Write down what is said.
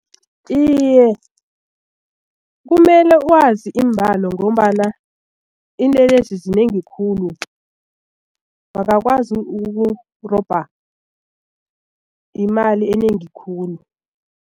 Iye, kumele wazi iimbalo ngombana iinlelesi zinengi khulu bangakwazi ukukurobha imali enengi khulu.